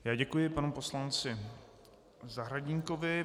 Já děkuji panu poslanci Zahradníkovi.